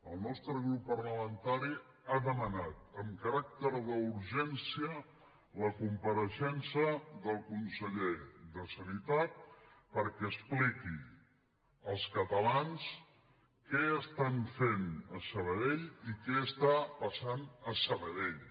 el nostre grup parlamentari ha demanat amb caràcter d’urgència la compareixença del conseller de sanitat perquè expliqui als catalans què estan fent a sabadell i què està passant a sabadell